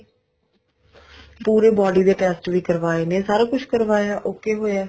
ਪੂਰੇ body ਦੇ test ਵੀ ਕਰਵਾਏ ਨੇ ਸਾਰਾ ਕੁੱਝ ਕਰਵਾਇਆ okay ਹੋਇਆ